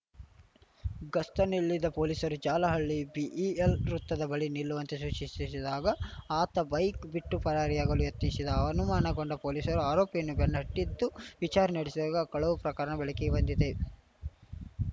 ಗಸ್ತಿನಲ್ಲಿದ್ದ ಪೊಲೀಸರು ಜಾಲಹಳ್ಳಿ ಬಿಇಎಲ್‌ ವೃತ್ತದ ಬಳಿ ನಿಲ್ಲುವಂತೆ ಸೂಚಿಶಿಶಿದಾಗ ಆತ ಬೈಕ್‌ ಬಿಟ್ಟು ಪರಾರಿಯಾಗಲು ಯತ್ನಿಶಿದ್ದ ಅನುಮಾನಗೊಂಡ ಪೊಲೀಸರು ಆರೋಪಿಯನ್ನು ಬೆನ್ನಟ್ಟಿದ್ದು ವಿಚಾರಣೆ ನಡೆಸಿದಾಗ ಕಳವು ಪ್ರಕರಣ ಬೆಳಕಿಗೆ ಬಂದಿದೆ